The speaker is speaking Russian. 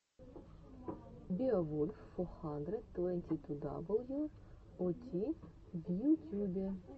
беовулф фо хандрэд твэнти ту дабл ю о ти в ютюбе